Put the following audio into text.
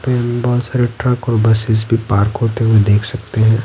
पे हम बहुत सारे ट्रक और बसेस भी पार्क होते हुए देख सकते हैं।